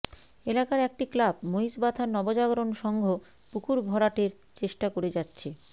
এলাকার একটি ক্লাব মহিষবাথান নবজাগরণ সংঘ পুকুর ভরাটের চেষ্টা করে যাচ্ছে